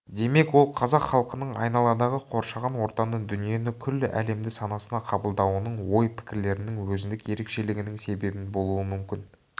демек ол қазақ халқының айналадағы қоршаған ортаны дүниені күллі әлемді санасына қабылдауының ой-пікірлерінің өзіндік ерекшелігінің себебінен болуы мүмкін